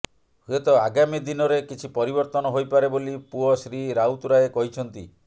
ହୁଏତ ଆଗାମୀ ଦିନରେ କିଛି ପରିବର୍ତ୍ତନ ହୋଇପାରେ ବୋଲି ପୁଅ ଶ୍ରୀ ରାଉତରାୟ କହିଛନ୍ତି